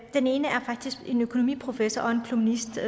den ene er faktisk en økonomiprofessor og journalist ved